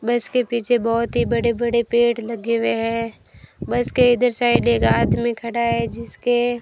बस के पीछे बहोत ही बड़े बड़े पेड़ लगे हुए हैं बस के इधर साइड एक आदमी खड़ा है जिसके --